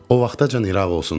O vaxtacan İraq olsun.